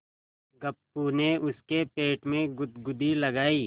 गप्पू ने उसके पेट में गुदगुदी लगायी